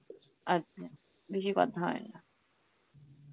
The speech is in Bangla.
আচ্ছা মানে বেশি কথা হয় না